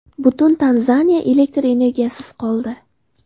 Butun Tanzaniya elektr energiyasisiz qoldi.